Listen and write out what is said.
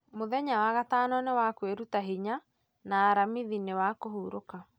mũthenya wagatano nĩ wa kwĩruta hinya na aramithi ni wa kũhurũka